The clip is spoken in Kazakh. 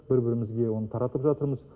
бір бірімізге оны таратып жатырмыз